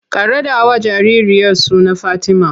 Ka raɗawa jaririyar suna Fatima!